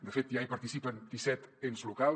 de fet ja hi participen disset ens locals